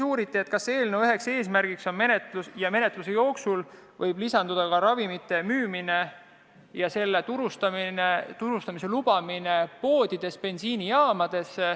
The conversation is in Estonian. Uuriti, kas menetluse jooksul võib eelnõusse lisanduda ka ravimite müümise lubamine poodides, bensiinijaamades.